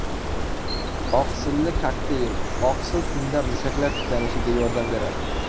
Oqsilli kokteyl Oqsil tunda mushaklar tiklanishiga yordam beradi.